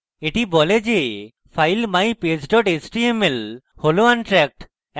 এটি বলে যে file mypage html হল untracked